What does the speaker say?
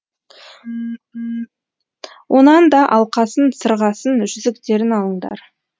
онан да алқасын сырғасын жүзіктерін алыңдар